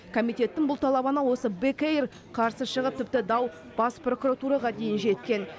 комитеттің бұл талабына осы бек эйр қарсы шығып тіпті дау бас прокуратураға дейін жеткен